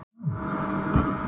Björn sagði að hann vildi frið.